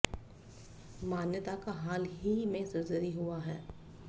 मान्यता का हाल ही में सर्जरी हुआ है